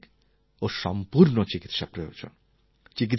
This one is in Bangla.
আমাদের সঠিক ও সম্পূর্ণ চিকিৎসা প্রয়োজন